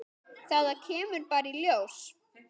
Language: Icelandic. Þetta kemur bara í ljós.